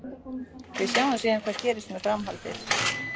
Við sjáum síðan hvað gerist með framhaldið.